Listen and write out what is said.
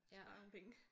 Spare nogle penge